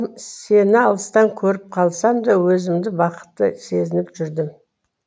сені алыстан көріп қалсамда өзімді бақытты сезініп жүрдім